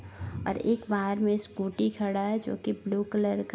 और एक बाहर मे स्कूटी खड़ा है जो की ब्लू कलर का --